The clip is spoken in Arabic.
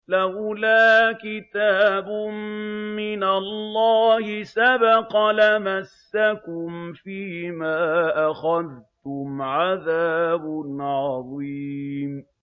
لَّوْلَا كِتَابٌ مِّنَ اللَّهِ سَبَقَ لَمَسَّكُمْ فِيمَا أَخَذْتُمْ عَذَابٌ عَظِيمٌ